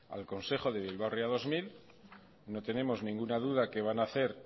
al consejo de bilbao ría dos mil no tenemos ninguna duda que van a hacer